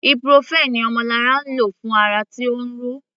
Ibuprofen ni Omolara lò fún ara tí ó ń ro.